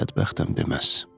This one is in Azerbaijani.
Bədbəxtəm deməz.